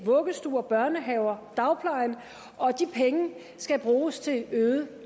vuggestuer børnehaver og dagplejen og de penge skal bruges til øget